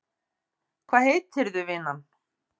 Hvað heitirðu vinan?